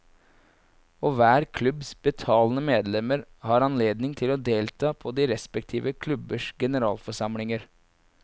Og hver klubbs betalende medlemmer har anledning til å delta på de respektive klubbers generalforsamlinger.